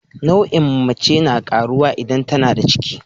Nauyin mace na karuwa idan tAnada ciki